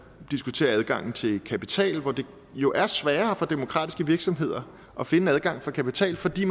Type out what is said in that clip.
diskutere adgangen til kapital hvor det jo er sværere for demokratiske virksomheder at finde adgang til kapital fordi